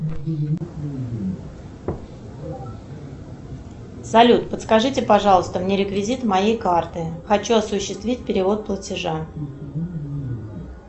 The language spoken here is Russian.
салют подскажите пожалуйста мне реквизиты моей карты хочу осуществить перевод платежа